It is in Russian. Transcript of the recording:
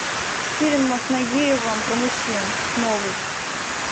фильм с нагиевым про мужчин новый